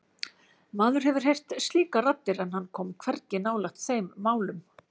Maður hefur heyrt slíkar raddir en hann kom hvergi nálægt þeim málum.